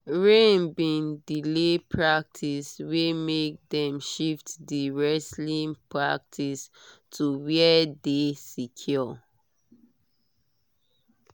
rain bin delay practice wey make dem shift di wrestling practice to where dey secure